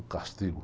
O castigo.